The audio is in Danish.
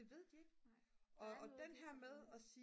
det ved de ikke og den her med at sige